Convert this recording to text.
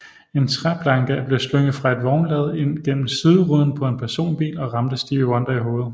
En træplanke blev slynget fra et vognlad ind gennem sideruden på en personbil og ramte Stevie Wonder i hovedet